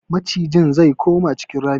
Macijin ze koma cikin ramin.